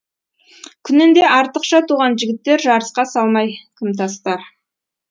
күнінде артықша туған жігіттер жарысқа салмай кім тастар